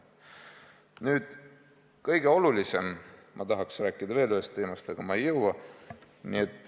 Nüüd, mis kõige olulisem – ma tahaks rääkida veel ühest teemast, aga ma ei jõua.